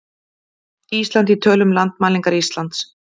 Ísland í tölum- Landmælingar Íslands.